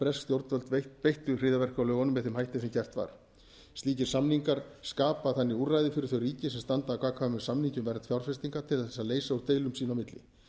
bresk stjórnvöld beittu hryðjuverkalögunum með þeim hætti sem gert var slíkir samningar skapa þannig úrræði fyrir þau ríki sem standa að gagnkvæmum samningi um vernd fjárfestinga til þess að leysa úr deilum sín á milli